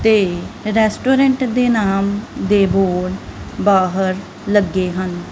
ਤੇ ਰੈਸਟੋਰੈਂਟ ਦੇ ਨਾਮ ਦੇ ਬੋਰਡ ਬਾਹਰ ਲੱਗੇ ਹਨ।